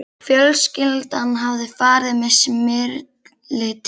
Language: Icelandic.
Fjölskyldan hafði farið með Smyrli til